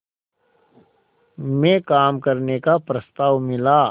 में काम करने का प्रस्ताव मिला